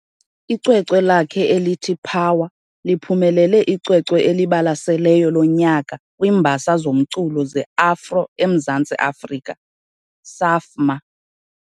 Icwecwe lakhe elithi "Power" liphumelele icwecwe eliBalaseleyo lonyaka kwiiMbasa zoMculo zeAfro eMzantsi Afrika, Saafma.